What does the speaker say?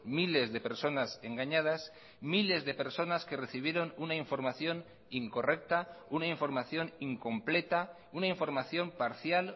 miles de personas engañadas miles de personas que recibieron una información incorrecta una información incompleta una información parcial